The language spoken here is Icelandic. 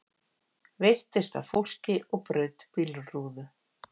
Veittist að fólki og braut bílrúðu